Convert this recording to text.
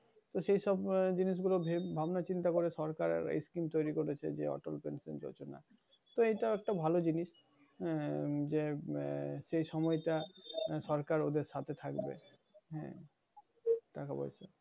তো সেই সব আহ জিনিশগুলো ভেব~ আহ ভাবনা-চিন্তা করে সরকার এই scheme তৈরী করেছে। এইটাও একটা ভালো জিনিস। আহ যে আহ সেই সময়টা সরকার ওদের সাথে থাকবে। আহ তো,